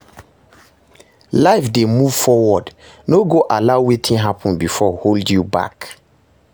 Life dey move forward, no go allow wetin hapun bifor hold you back